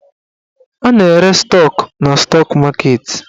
A na-ere stọk na stọk maketi.